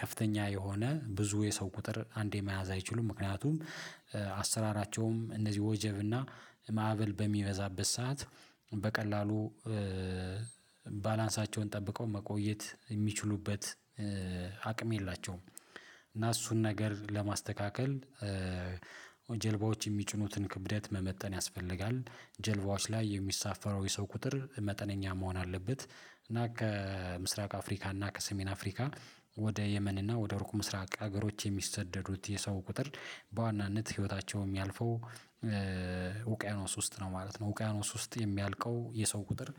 ከፍተኛ የሆነ ብዙ የሰው ቁጥር አንዴ መያዝ አይችሉም ምክንያቱም አሰራራቸውም እነዚህ ወጀብና ማዕበል በሚመዛበት ሰዓት በቀላሉ ባላንሳቸውን ጠብቀው መቆየት የሚችሉበት አቅም የላቸውም። እና እሱን ነገር ለማስተካከል ጀልባዎች የሚጭኑትን ክብደት መመጠን ያስፈልጋል። ጀልባዎች ላይ የሚሳፈረው የሰው ቁጥር መጠነኛ መሆን አለበት። እና ከምስራቅ አፍሪካ እና ከሰሜን አፍሪካ ወደ የመን እና ወደ ሩቅ ምስራቅ ሀገሮች የሚሰደዱት የሰው ቁጥር በዋናነት ህይወታቸው የሚያልፈው ውቅያኖስ ውስጥ ነው ማለት ነው። ውቅያኖስ ውስጥ የሚያልቀው የሰው ቁጥር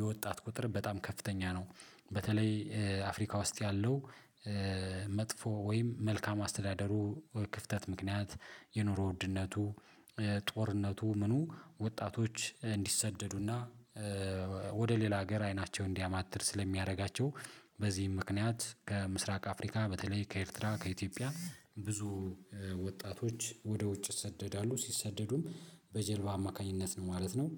የወጣት ቁጥር በጣም ከፍተኛ ነው። በተለይ አፍሪካ ውስጥ ያለው መጥፎ ወይም መልካም አስተዳደሩ ክፍተት ምክንያት የኑሮ ውድነቱ ጦርነቱ ምኑ ወጣቶች እንዲሰደዱና ወደ ሌላ ሀገር አይናቸውን እንዲያማትር ስለሚያደርጋቸው በዚህም ምክንያት ከምስራቅ አፍሪካ በተለይ ከኤርትራ ከኢትዮጵያ ብዙ ወጣቶች ወደ ውጭ ይሰደዳሉ ሲሰደዱም በጀልባ አማካኝነት ነው ማለት ነው።